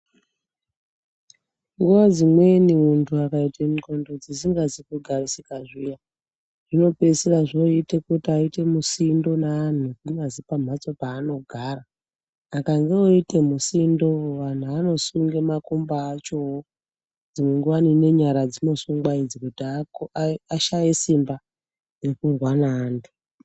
Nguva dzimweni muntu akaite ndxondo dzisingazi ku garisika zviya zvino pedzisira zvoyite kuti aite musindo ne anhu kunyazi pa mhatso pa anogara akange oyite musindo vanhu vanosunga makumbo achowo dzimwe nguva ne nyara idzi dzino sungwa idzi kuti ashaye simba rekurwa ne antu.